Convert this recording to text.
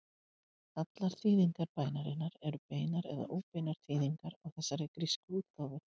Allar þýðingar bænarinnar eru beinar eða óbeinar þýðingar á þessari grísku útgáfu.